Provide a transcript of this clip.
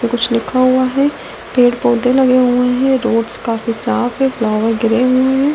कुछ लिखा हुआ है पेड़ पौधे लगे हुए हैं रोड्स काफी साफ है फ्लावर गिरे हुए हैं।